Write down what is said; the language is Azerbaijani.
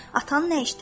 Atan nə işdədir?